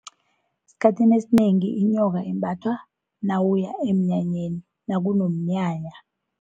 Esikhathini esinengi inyoka imbathwa nawuya emnyanyeni, nakunomnyanya.